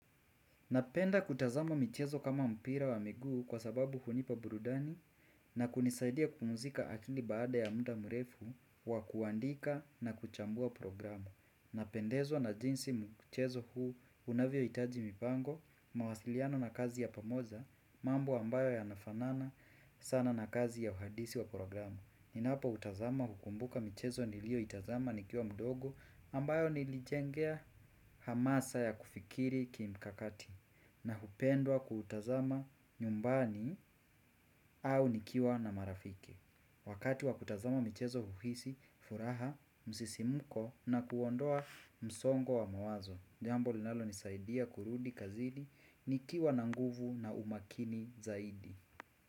Napenda kutazama michezo kama mpira wa miguu kwa sababu hunipa burudani na kunisaidia kupumzika akili baada ya muda mrefu wa kuandika na kuchambua programu. Napendezwa na jinsi mchezo huu unavyohitaji mipango, mawasiliano na kazi ya pamoja, mambo ambayo yanafanana sana na kazi ya uhandisi wa programu. Ninapoutazama hukumbuka michezo niliyoitazama nikiwa mdogo ambayo nilijengea hamasa ya kufikiri kimkakati. Na hupendwa kuutazama nyumbani au nikiwa na marafiki wakati wa kutazama michezo huhisi furaha msisimko na kuondoa msongo wa mawazo, jambo linalonisaidia kurudi kazini nikiwa na nguvu na umakini zaidi.